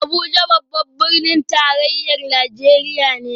Abuja babban birnin tarayyar Najeriya ne